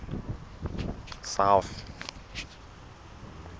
south